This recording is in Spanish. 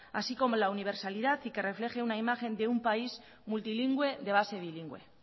así como la universalidad y que refleje la imagen de un país multilingüe de base bilingüe